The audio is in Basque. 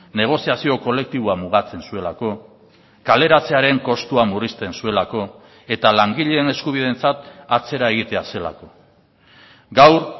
negoziazio kolektiboa mugatzen zuelako kaleratzearen kostua murrizten zuelako eta langileen eskubideentzat atzera egitea zelako gaur